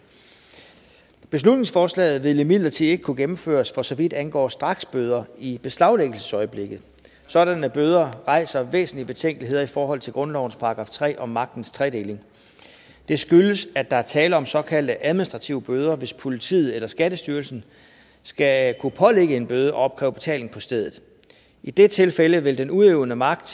beslutningsforslaget vil imidlertid ikke kunne gennemføres for så vidt angår straksbøder i beslaglæggelsesøjeblikket sådanne bøder rejser væsentlige betænkeligheder i forhold til grundlovens § tre om magtens tredeling det skyldes at der er tale om såkaldte administrative bøder hvis politiet eller skattestyrelsen skal kunne pålægge en bøde og opkræve betaling på stedet i det tilfælde vil den udøvende magt